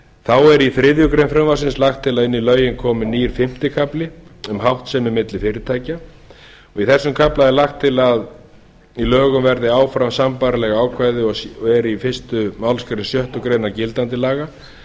þá er í þriðju greinar frumvarpsins lagt til að inn í lögin komi nýr fimmti kafli um háttsemi milli fyrirtækja í þessum kafla er lagt til að í lögum verði áfram sambærileg ákvæði og eru í fyrstu málsgrein sjöttu grein gildandi laga þó